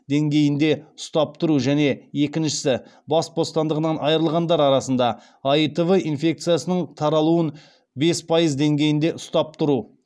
деңгейінде ұстап тұру және екіншісі бас бостандығынан айырылғандар арасында аитв инфекциясының таралуын бес пайыз деңгейінде ұстап тұру